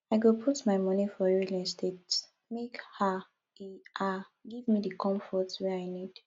i go put my moni for real estate make um e um give me di comfort wey i need